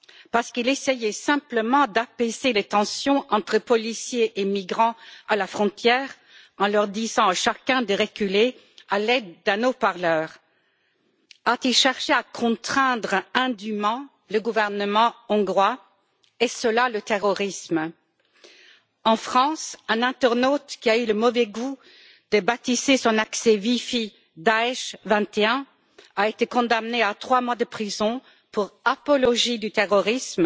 Parce qu'il essayait simplement d'apaiser les tensions entre policiers et migrants à la frontière en disant à chacun de reculer à l'aide d'un mégaphone. A t il cherché à contraindre indûment le gouvernement hongrois? Est ce cela le terrorisme? En France, un internaute qui a eu le mauvais goût de baptiser son accès wifi Daech 21 a été condamné à trois mois de prison pour apologie du terrorisme.